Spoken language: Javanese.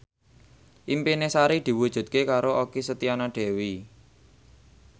impine Sari diwujudke karo Okky Setiana Dewi